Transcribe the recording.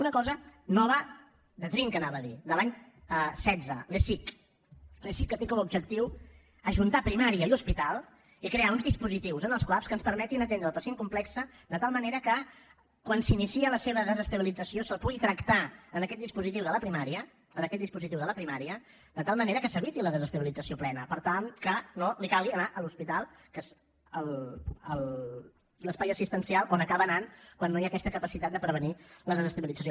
una cosa nova de trinca anava a dir de l’any setze l’esic l’esic que té com a objectiu ajuntar primària i hospital i crear uns dispositius en els cuap que ens permetin atendre el pacient complex de tal manera que quan s’inicia la seva desestabilització se’l pugui tractar en aquest dispositiu de la primària en aquest dispositiu de la primària de tal manera que se n’eviti la desestabilització plena per tal que no li calgui anar a l’hospital que és l’espai assistencial on acaba anant quan no hi ha aquesta capacitat de prevenir la desestabilització